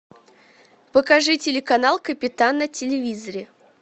покажи телеканал капитан на телевизоре